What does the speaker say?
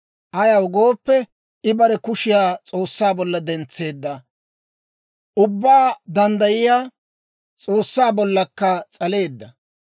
Ayaw gooppe, I bare kushiyaa S'oossaa bolla dentseedda; Ubbaa Danddayiyaa S'oossaa bollakka s'aleedda.